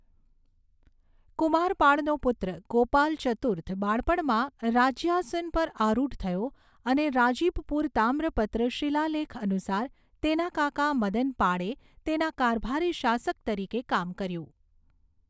કુમારપાળનો પુત્ર ગોપાલ ચતુર્થ બાળપણમાં રાજ્યાસન પર આરુઢ થયો અને રાજીબપુર તામ્રપત્ર શિલાલેખ અનુસાર, તેના કાકા મદનપાળે તેના કારભારી શાસક તરીકે કામ કર્યું.